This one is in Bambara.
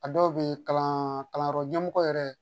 A dɔw bɛ kalan kalanyɔrɔ ɲɛmɔgɔ yɛrɛ